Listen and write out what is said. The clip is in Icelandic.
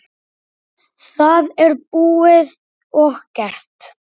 Það er búið og gert.